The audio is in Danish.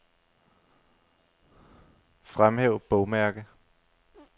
Fremhæv bogmærke.